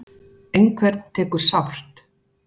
Einhvern tekur sárt